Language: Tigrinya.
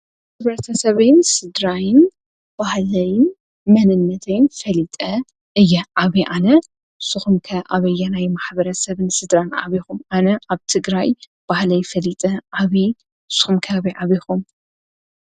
ሕብረተሰበይን ስድራይን ባህለይን መንነተይን ፈሊጠ እየ ዓብየ ኣነ፣ ንስኹም ከ ኣበየናይ ማኅበረ ሰብን ስድራን ዓብኹም? ኣነ ኣብ ትግራይ ባህለይ ፈሊጠ ዓብየ ንስኹም ከ ኣበይ ኣቢኹም?